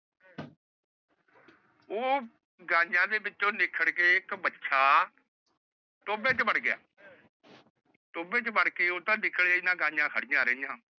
ਉਹ ਗਾਯੀਆਂ ਚੋ ਬਿਛੜ ਕੇ ਇੱਕ ਵੱਛਾ ਟੋਬੇ ਚ ਵੜ ਗਿਆ। ਟੋਬੇ ਚ ਵੜ ਕੇ ਉਹ ਤਾਂ ਨਿਕਲੇ ਈ ਨਾ ਗਾਯੀਆਂ ਖੜਿਆ ਰਹੀਆਂ।